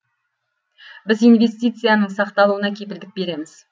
біз инвестицияның сақталуына кепілдік береміз